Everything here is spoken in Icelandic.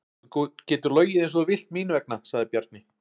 Þú getur logið eins og þú vilt mín vegna, sagði Bjarni.